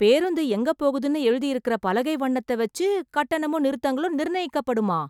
பேருந்து எங்க போகுதுன்னு எழுதி இருக்குற பலகை வண்ணத்த வச்சு கட்டணமும் நிறுத்தங்களும் நிர்ணயிக்கப் படுமா?